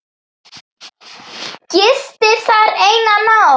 Gisti þar eina nótt.